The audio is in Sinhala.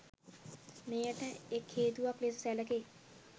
මෙයට එක් හේතුවක් ලෙස සැලකේ